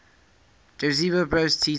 josip broz tito